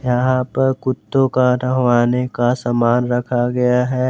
यहां पर कुत्तों का नहवाने का सामान रखा गया है।